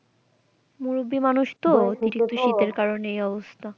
মুরুব্বি মানুষ তো একটু শীতের কারণে এই অবস্থা।